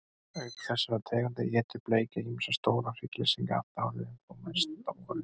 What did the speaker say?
Auk þessara tegunda étur bleikja ýmsa stóra hryggleysingja allt árið, en þó mest á vorin.